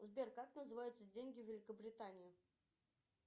сбер как называются деньги великобритании